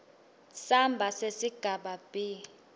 samba sesigaba b